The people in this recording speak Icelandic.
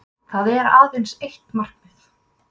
Það er aðeins eitt markið